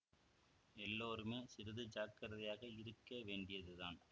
எல்லோருமே சிறிது ஜாக்கிரதையாக இருக்க வேண்டியதுதான்